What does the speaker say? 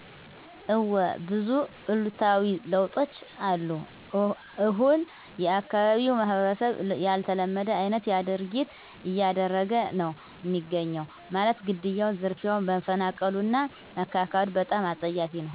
እዎ ብዙ እሉታዊ ለውጦች አሉ እሁን የአካባቢው ማህበረሰብ ያልተለመደ አይነት ድርጊት እያደረገ ነው እሚገኘው ማለትም ግድያው፣ ዝርፊያው፣ መፈናቀሉ እና መካካዱ በጣም አፀያፊ ነው።